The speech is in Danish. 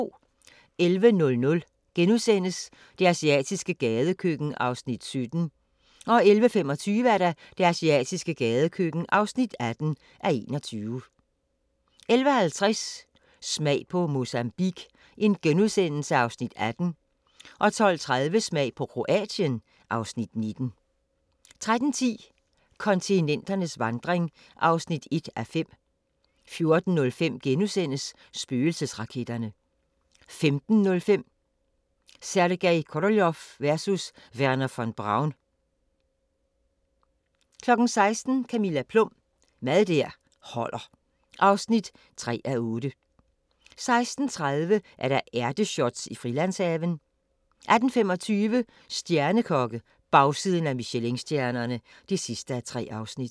11:00: Det asiatiske gadekøkken (17:21)* 11:25: Det asiatiske gadekøkken (18:21) 11:50: Smag på Mozambique (Afs. 18)* 12:30: Smag på Kroatien (Afs. 19) 13:10: Kontinenternes vandring (1:5) 14:05: Spøgelsesraketterne * 15:05: Sergej Koroljov versus Wernher von Braun 16:00: Camilla Plum – Mad der holder (3:8) 16:30: Ærteshots i Frilandshaven 18:25: Stjernekokke - bagsiden af Michelinstjernerne (3:3)